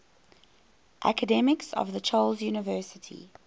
academics of the charles university